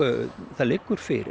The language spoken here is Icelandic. það liggur fyrir